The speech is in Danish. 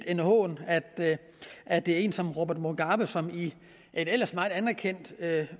en hån at at det er en som robert mugabe som i et ellers meget anerkendt